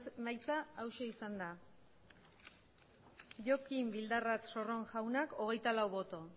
emaitza hauxe izan da jokin bildarratz sorron jaunak hogeita lau boto